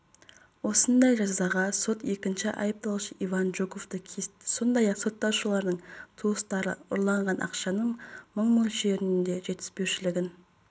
осындай жазаға сот екінші айыпталушы иван жуковты кесті сондай-ақ сотталушылардың туыстары ұрланған ақшаның мың мөлшерінде жетіспеушілігін